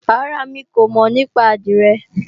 Rárá, mi kò mọ̀ nípa àdìrẹ